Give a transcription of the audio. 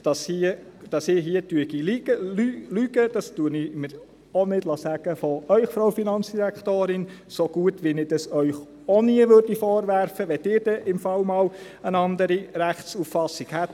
Das lasse ich mir auch von Ihnen nicht sagen, Frau Finanzdirektorin, ebenso wenig, wie ich Ihnen dies auch nie vorwerfen würde, wenn Sie allenfalls einmal eine andere Rechtsauffassung haben sollten.